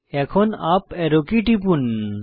এখন up arrow key টিপুন